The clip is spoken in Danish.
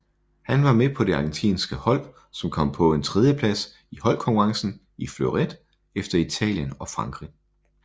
Han var med på det argentinske hold som kom på en tredjeplads i holdkonkurrencen i fleuret efter Italien og Frankrig